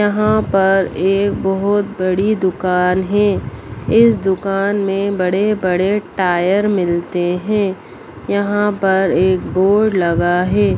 यहाँ पर एक बहुत बड़ी दुकान है इस दुकान में बड़े बड़े टायर मिलते है यहां पर एक बोर्ड लगा है।